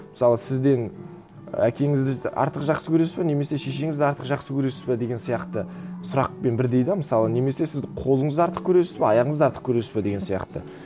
мысалы сізден әкеңізді артық жақсы көресіз бе немесе шешеңізді артық жақсы көресіз бе деген сияқты сұрақпен бірдей де мысалы немесе сізді қолыңызды артық көресіз бе аяғыңызды артық көресіз бе деген сияқты